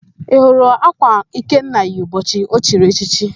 Ị hụrụ ákwà Ikenna yi ụbọchị o chiri echichi?